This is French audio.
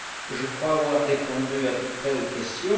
Je crois avoir répondu à peu près aux questions.